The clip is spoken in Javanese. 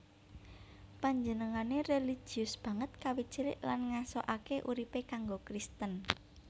Panjenengané réligius banget kawit cilik lan ngasokaké uripé kanggo Kristen